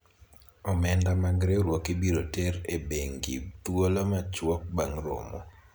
omenda mag riwruok ibiro ter e bengi thuolo machwok bang' romo